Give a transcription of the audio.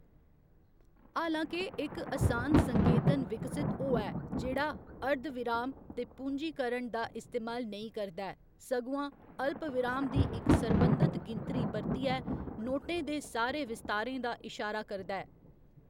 हालां के, इक असान संकेतन विकसत होआ ऐ जेह्‌‌ड़ा अर्धविराम ते पूंजीकरण दा इस्तेमाल नेईं करदा ऐ, सगुआं अल्पविराम दी इक सरबंधत गिनतरी बरतियै नोटें दे सारे विस्तारें दा इशारा करदा ऐ।